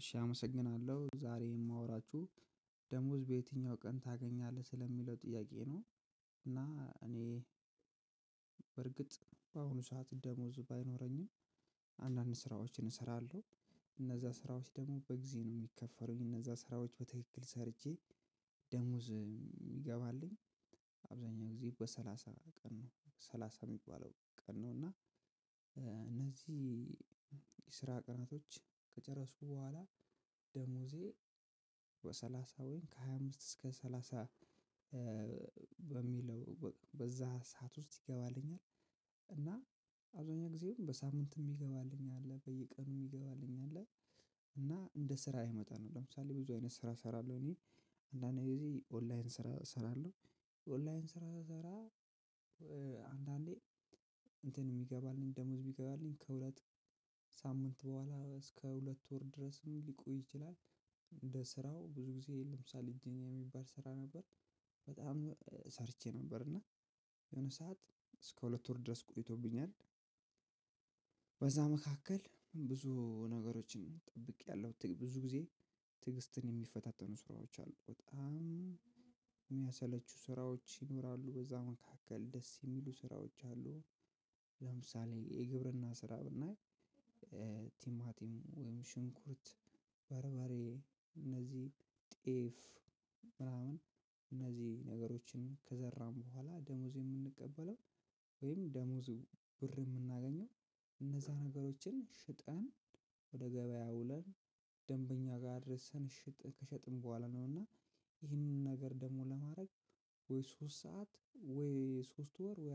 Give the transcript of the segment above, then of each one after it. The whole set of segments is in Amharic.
እሺ አመሰግናለሁ። ዛሬ የማወራችሁ ደሞዝ በየትኛው ቀን ታገኛለህ? ስለሚለው ጥያቄ ነው። እና እኔ በርግጥ በአሁኑ ሰዓት ደሞዝ ባይኖረኝም አንዳንድ ስራዎችን እሰራለሁ። እነዛ ስራዎች ደግሞ በጊዜ ነው ምከፈሉኝ። እነዛ ስራዎች በትክክል ሰርቼ ደሞዝ የሚገባልኝ አብዛኛው ጊዜ በሳላሳ ቀን ነው። ሳላሳ ሚባለው ቀን ነው እና እነዚህ የስራ ቀናቶች ከጨረስኩ በኋላ ደሞዜ በሰላሳ ወይንም ከሃያ አምስት እስከ ሰላሳ በሚለው በዛ ሰዓት ውስጥ ይገባልኛል። እና አብዛኛው ጊዜውን በሳምንት የሚገባልኝ አለ፣ በየቀኑ የሚገባልኝ አለ፣ እና እንደ ስራዬ መጠን ነው። ለምሳሌ ብዙ አይነት ስራ እሰራለሁ እኔ። አንዳንድ ጊዜ ኦንላይን ስራ እሰራለሁ። ኦንላይን ስራ እሰራ አንዳንዴ እንትን የሚገባልኝ ደሞዝ የሚገባልኝ፣ ከሁለት ሳምንት በኋላ እስከ ሁለት ወር ድረስም ሊቆይ ይችላል። እንደ ስራው ብዙ ጊዜ ለምሳሌ ጂኒያ የሚባል ስራ ነበር። በጣም ሰርቼ ነበር እና የሆነ ሰዓት እስከ ሁለት ወር ድረስ ቆይቶብኛል። በዛ መካከል ብዙ ነገሮችን ጠብቄያለሁ። ብዙ ጊዜ ትዕግስትን የሚፈታተኑ ስራዎች አሉ። በጣም የሚያሰለቹ ስራዎች ይኖራሉ። በዛ መካከል ደስ የሚሉ ስራዎች አሉ። ለምሳሌ የግብርና ስራ ብናይ ቲማቲም ወይም ሽንኩርት፣ ባርባሬ፣ እነዚህ ጤፍ ምናምን እነዚህ ነገሮችን ከዘራን በኋላ ደሞዝ የምንቀበለው ወይም ደሞዝ ብር የምናገኘው እነዛ ነገሮችን ሽጠን ወደ ገበያ አውለን ደንበኛ ጋር አድርሰን ሽጥ፣ ከሸጥን በኋላ ነው። እና ይህንን ነገር ደግሞ ለማድረግ ወይ ሶስት ሰዓት ወይ ሶስት ወር ወይ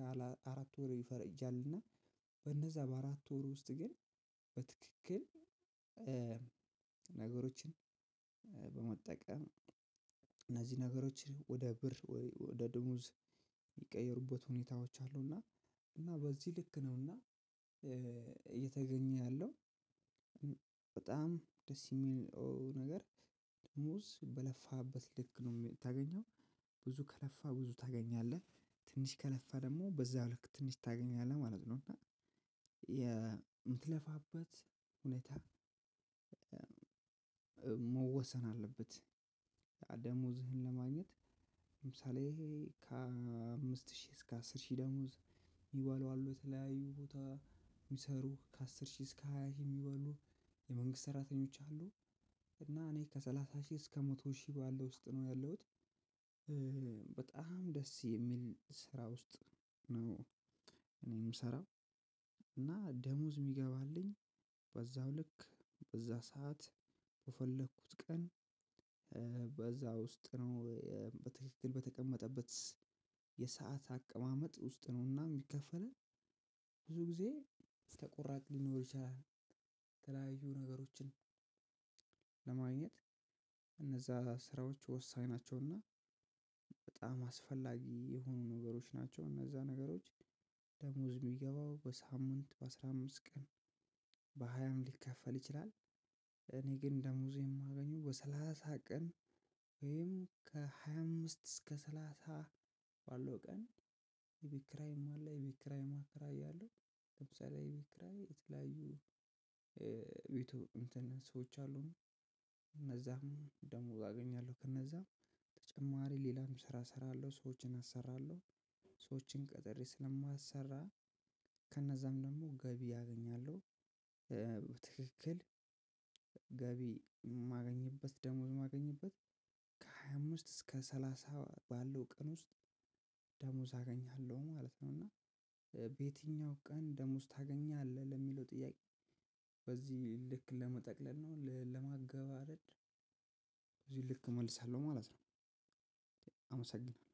አራት ወር ይፈረጃል። እና በነዛ በአራት ወር ውስጥ ግን በትክክል ነገሮችን በመጠቀም እነዚህ ነገሮችን ወደ ብር ወደ ድሙዝ የሚቀየሩበት ሁኔታዎች አሉ። እና እና በዚህ ልክ ነውና እየተገኘ ያለው። በጣም ደስ የሚለው ነገር ደሞዝ በለፋበት ልክ ነው የሚታገኘው። ብዙ ከለፋ ብዙ ታገኛለህ፣ ትንሽ ከለፋ ደግሞ በዛ ልክ ትንሽ ታገኛለህ ማለት ነው። እና የምትለፋበት ሁኔታ መወሰን አለበት፣ ደሞዝህን ለማግኘት ለምሳሌ ከአምስት ሺህ እስከ አስር ሺህ ደሞዝ የሚበሉ የተለያዩ ቦታ የሚሰሩህ፣ ከአስር ሺህ እስከ ሃያ ሺህ የሚበሉ የመንግስት ሰራተኞች አሉ። እና እኔ ከሰላሳ ሺህ እስከ መቶ ሺህ ባለው ውስጥ ነው ያለሁት። በጣም ደስ የሚል ስራ ውስጥ ነው እኔ የምሰራው። እና ደሞዝ የሚገባልኝ በዛው ልክ፣ በዛ ሰዓት፣ በፈለኩት ቀን፣ በዛ ውስጥ ነው በትክክል በተቀመጠበት የሰዓት አቀማመጥ ውስጥ ነው እና የሚከፈለን ብዙ ጊዜ ተቆራጭ ሊኖር ይችላል፣ የተለያዩ ነገሮችን ለማግኘት እነዛ ስራዎች ወሳኝ ናቸውና በጣም አስፈላጊ የሆኑ ነገሮች ናቸው፣ እነዛ ነገሮች ደሞዝ የሚገባው በሳምንት፣ በአስራ አምስት ቀን፣ በሀያም ሊከፈል ይችላል። እኔ ግን ደሞዜ የማገኘው በሰላሳ ቀን ወይም ከሃያ አምስት እስከ ሰላሳ ባለው ቀን የቤት ክራይም አለ። የቤት ክራይም አከራያለሁ። ለምሳሌ የቤት ክራይ የትለያዩ ቤቱ ሰዎች አሉን። እነዛም ደሞዝ አገኛለሁ ከእነዛ። ተጨማሪ ሌላም ስራ እሰራለሁ፣ ሰዎችን አሰራለሁ፤ ሰዎችን ቀጥሬ ስለማሰራ ከነዛም ደግሞ ገቢ አገኛለሁ። በትክክል ገቢ ማገኝበት፣ ደሞዝ ማገኝበት ከሃያ አምስት እስከ ሰላሳ ባለው ቀን ውስጥ ደሞዝ አገኛለሁ ማለት ነው። እና በየትኛው ቀን ደሞዝ ታገኛለህ ለሚለው ጥያቄ በዚህ ልክ ለመጠቅለል ነው፣ ለማገባደድ በዚህ ልክ እመልሳለሁ ማለት ነው። አመሰግናለሁ።